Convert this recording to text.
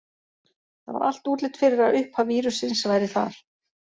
Það var allt útlit fyrir að uppaf vírussins væri þar.